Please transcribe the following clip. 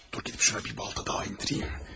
Dur, gedib şuna bir balta daha endirim.